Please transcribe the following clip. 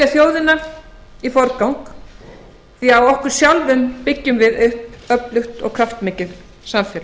þjóðina í forgang því á okkur sjálfum byggjum við upp öflugt og kraftmikið samfélag